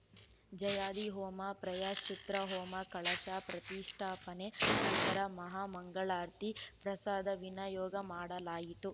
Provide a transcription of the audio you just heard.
ಜಯಾದಿ ಹೋಮ ಪ್ರಾಯಶ್ಚಿತ್ರ ಹೋಮ ಕಳಶ ಪ್ರತಿಷ್ಠಾಪನೆ ನಂತರ ಮಹಾಮಂಗಳಾರತಿ ಪ್ರಸಾದ ವಿನಯೋಗ ಮಾಡಲಾಯಿತು